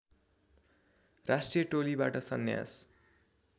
राष्ट्रिय टोलीबाट सन्यास